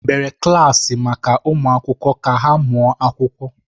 Emebere klaasị maka ụmụ akwụkwọ ka ha mụọ akwụkwọ.